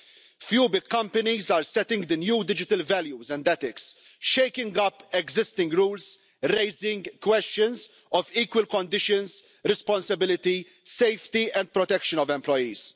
A few big companies are setting the new digital values and ethics, shaking up existing rules, raising questions of equal conditions, responsibility, safety and protection of employees.